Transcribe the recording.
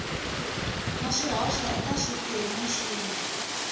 na swihoxo eka swiphemu swin